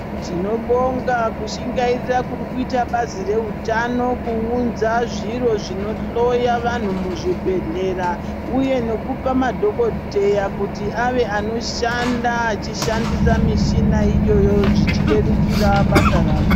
Tinobonga kushingairira kuri kuita basi reutano kuunza zviro zvinohloya vantu muzvibhedhlera uye nokupa madhokodheya kuti ava anoshanda achishandisa mishina iyoyo zvichirerukira basa rawo.